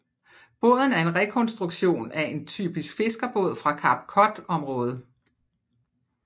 Båden er en rekonstruktion af en typisk fiskerbåd fra Cape Cod området